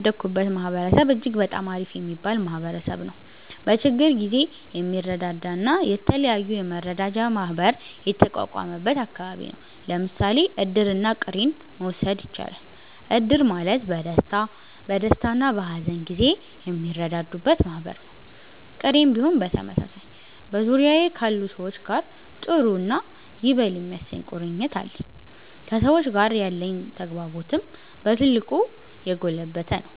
እኔ ያደኩበት ማህበረሰብ እጅግ በጣም አሪፍ የሚባል ማህበረሰብ ነዉ። በችግር ጊዜ የሚረዳዳ እና የተለያዩ የመረዳጃ ማህበር የተቋቋመበት አከባቢ ነው። ለምሳሌ እድርና ቅሬን መዉሰድ እችላለን። እድር ማለት በደስታና በሀዘን ጊዜ የሚረዳዱበት ማህበር ነው፤ ቅሬም ቢሆን በተመሳሳይ። በዙሪያዬ ካሉ ሰዎች ጋር ጥሩ እና ይበል የሚያሰኝ ቁርኝት አለኝ። ከሰዎች ጋር ያለኝ ተግባቦትም በ ትልቁ የጎለበተ ነው።